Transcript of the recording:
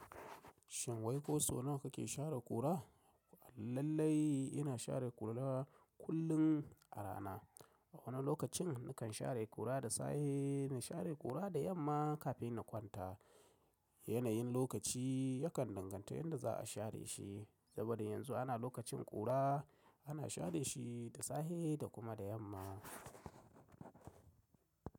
Shin wai ko sau nawa kake share kura? Lallai ina share kura kullum a rana. A wani lokacin nakan share kura da safe, na share kura da yamma kafin na kwanta. Yanayin lokaci yakan danganta yanda za a share shi. Saboda yanzu ana lokacin kura ana share shi da safe da kuma da yamma.